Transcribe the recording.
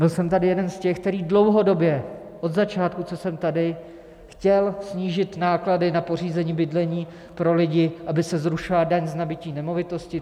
Byl jsem tady jeden z těch, který dlouhodobě od začátku, co jsem tady, chtěl snížit náklady na pořízení bydlení pro lidi, aby se zrušila daň z nabytí nemovitosti.